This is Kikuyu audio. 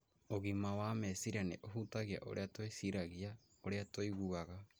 Ũgima wa meciria nĩ ũhutagia ũrĩa twĩciragia, ũrĩa tũiguaga,